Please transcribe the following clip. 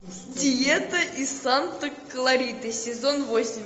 диета из санта клариты сезон восемь